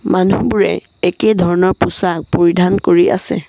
মানুহবোৰে একেই ধৰণৰ পোছাক পৰিধান কৰি আছে।